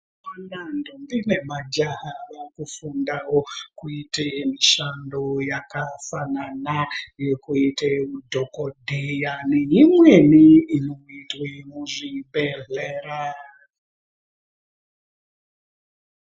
Ndombi nemajaha vaakufundawo kuita mishando yakafanana nekuite udhokodheya neimweni inoitwe muzvibhedhlera.